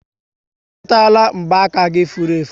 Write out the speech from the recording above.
Ị chọtara mgba aka gị furu efu?